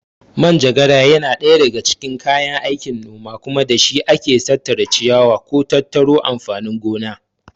Manjagara na ɗaya daga cikin kayan aikin noma kuma da shi ake tattara ciyawa ko tattaro amfanin gona.